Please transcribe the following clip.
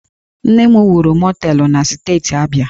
Nna m wuru mọteelụ na Steeti Abia